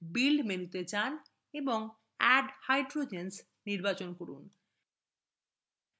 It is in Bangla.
build মেনুতে যান এবং add hydrogens নির্বাচন করুন